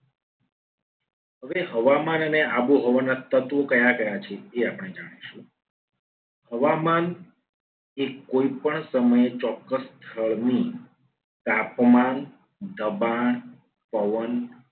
હવે હવામાન અને આબોહવાના તત્વો કયા કયા છે. એ આપણે જાણીશું. હવામાન એ કોઈ પણ સમયે ચોક્ક્સ સ્થળની તાપમાન, દબાણ, પવન